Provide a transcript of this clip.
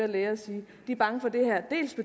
korrigere sine